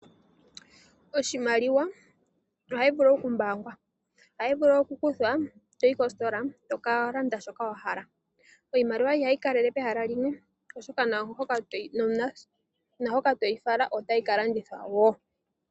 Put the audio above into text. Oshimaliwa ohayi vulu okumbaangwa. Ohayi vulu okukuthwa, toyi koositola to ka landa shoka wa hala. Iimaliwa ihayi kalele pehala limwe, oshoka naahoka toyi fala otayi ka longithwa wo.